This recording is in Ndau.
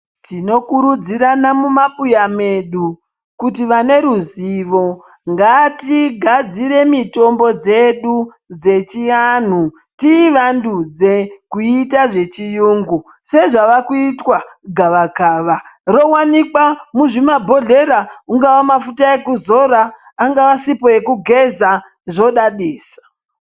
Tinokurudzirana mumabuya medu, kuti vane ruzivo, ngatigadzire mitombo dzedu dzechianhu tiivandudze kuiita zvechiyungu, sezvava kuitwa gavakava. Rowanikwa muzvimabhodhlera, ungaa mafuta ekuzora, ingaa sipo yekugeza, zvodadisa.